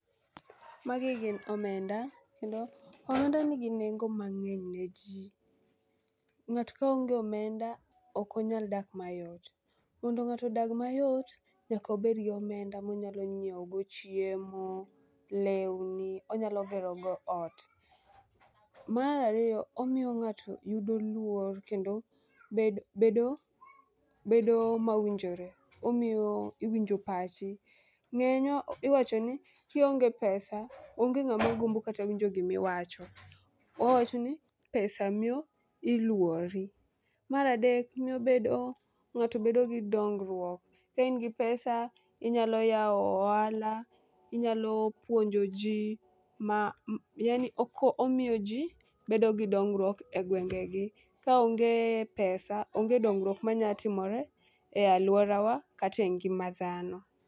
Magi gin omenda kendo omenda nigi nengo mang'eny ne jii .Ng'ato koonge omenda ok onyal dak mayot, mondo ng'ato odag mayot nyaka obed gomenda monyalo nyiewo go chiemo , lewni, onyalo gero go ot. Mar ariyo omiyo ng'ato yudo luor kendo bed bedo bedo mowinjore omiyo iwinjo pachi. Ng'eny iwacho ni kionge pesa onge ng'ama gombo kata winjo gimi wacho .Wawacho ni pesa miyo iluori. Mar adek miyo ng'ato bedo gi dongruok. Ka in gi pesa inyalo yawo ohala, inyalo puonjo jii ma yaani oko omiyo jii bedo gi dongruok e gwenge gi. Kaonge pesa onge dongruok manya timore e luorawa kate ngima dhano.